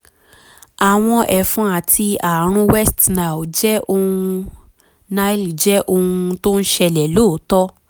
àwọn ẹ̀fọn àti ààrùn west nile jẹ́ ohun nile jẹ́ ohun tó ń ṣẹlẹ̀ lóòótọ́